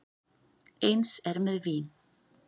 Eins er með vín.